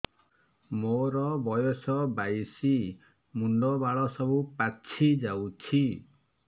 ମୋର ବୟସ ବାଇଶି ମୁଣ୍ଡ ବାଳ ସବୁ ପାଛି ଯାଉଛି